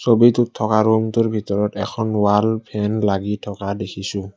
ছবিটোত থকা ৰূমটোৰ ভিতৰত এখন ফেন লাগি থকা দেখিছোঁ।